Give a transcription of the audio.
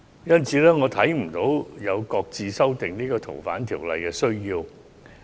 因此，我看不到有擱置修訂法例的需要。